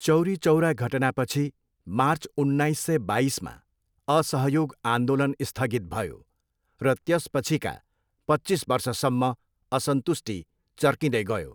चौरी चौरा घटनापछि मार्च उन्नाइस सय बाइसमा असहयोग आन्दोलन स्थगित भयो र त्यसपछिका पच्चिस वर्षसम्म असन्तुष्टि चर्किँदै गयो।